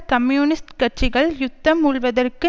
communist கட்சிகள் யுத்தம் மூள்வதற்கு